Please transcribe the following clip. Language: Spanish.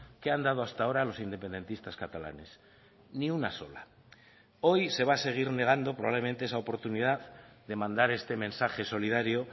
que han dado hasta ahora los independentistas catalanes ni una sola hoy se va a seguir negando probablemente esa oportunidad de mandar este mensaje solidario